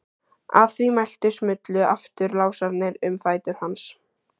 Að því mæltu smullu aftur lásarnir um fætur hans.